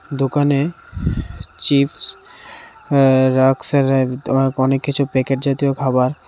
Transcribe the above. দোকানে চিপস আ অনেক কিছু প্যাকেট জাতীয় খাবার.